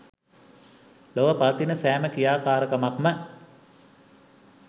ලොව පවතින සෑම ක්‍රියාකාරකමක්ම